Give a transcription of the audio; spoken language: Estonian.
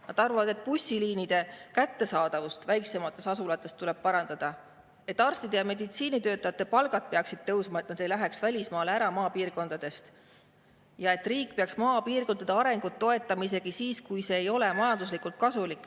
Nad arvavad, et bussiliinide kättesaadavust väiksemates asulates tuleb parandada, et arstide ja meditsiinitöötajate palgad peaksid tõusma, et nad ei läheks välismaale ära maapiirkondadest, ja et riik peaks maapiirkondade arengut toetama isegi siis, kui see ei ole majanduslikult kasulik.